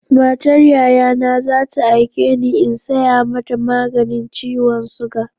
Matar Yayana za ta aike ni in saya mata maganin ciwon suga.